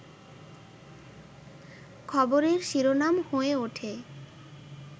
খবরের শিরোনাম হয়ে ওঠে